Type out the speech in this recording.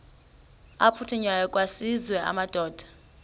aphuthunywayo kwaziswe amadoda